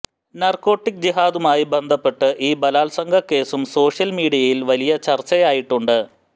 narcotic ജിഹാദുമായി ബന്ധപ്പെട്ട് ഈ ബലാത്സംഗ കേസും സോഷ്യൽ മീഡിയയിൽ വലിയ ചർച്ചയായിട്ടുണ്ട്